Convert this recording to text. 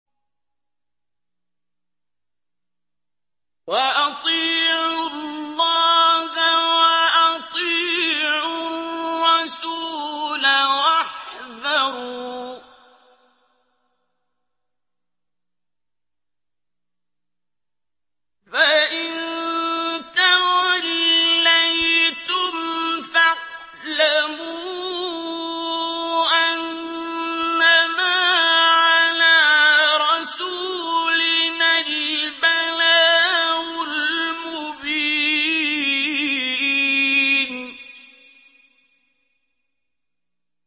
وَأَطِيعُوا اللَّهَ وَأَطِيعُوا الرَّسُولَ وَاحْذَرُوا ۚ فَإِن تَوَلَّيْتُمْ فَاعْلَمُوا أَنَّمَا عَلَىٰ رَسُولِنَا الْبَلَاغُ الْمُبِينُ